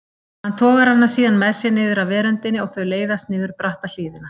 Hann togar hana síðan með sér niður af veröndinni og þau leiðast niður bratta hlíðina.